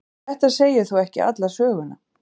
En þetta segir nú ekki alla söguna.